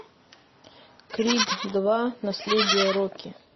крид два наследие рокки